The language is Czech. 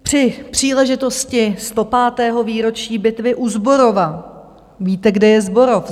Při příležitosti 105. výročí bitvy u Zborova - víte, kde je Zborov.